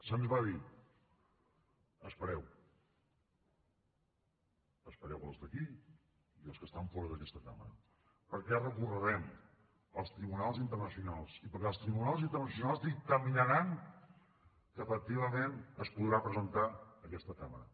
se’ns va dir espereu espereu els d’aquí i els que estan fora d’aquesta cambra perquè recorrerem als tribunals internacionals i perquè els tribunals internacionals dictaminaran que efectivament es podrà presentar en aquesta cambra